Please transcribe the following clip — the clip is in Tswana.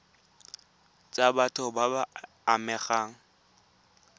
tsa batho ba ba amegang